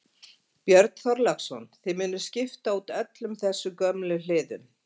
Björn Þorláksson: Þið munuð skipta út öllum þessum gömlu hliðum?